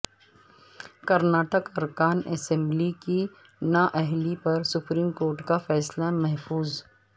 کرناٹک ارکان اسمبلی کی نااہلی پر سپریم کورٹ کا فیصلہ محفوظ